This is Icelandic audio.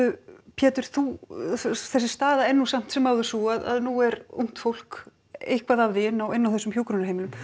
Pétur þessi staða er samt sem áður sú að nú er ungt fólk eitthvað af því inni á inni á þessum hjúkrunarheimilum